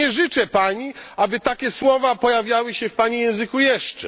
Nie życzę Pani, aby takie słowa pojawiały się w Pani języku jeszcze.